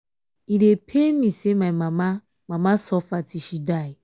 e dey pain me say my mama mama suffer till she die